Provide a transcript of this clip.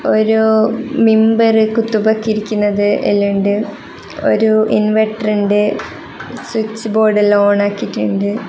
ഒരു ഇരിക്കുന്നത് എല്ലാം ഇണ്ട് ഒരു ഇൻവെർട്ടർ ഇണ്ട് സ്വിച്ച് ബോർഡ് എല്ലാം ഓൺ ആക്കിട്ടുണ്ട്.